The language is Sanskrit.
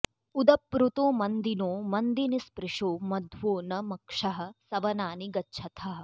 उ॒द॒प्रुतो॑ म॒न्दिनो॑ मन्दिनि॒स्पृशो॒ मध्वो॒ न मक्षः॒ सव॑नानि गच्छथः